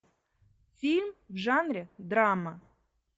фильм в жанре драма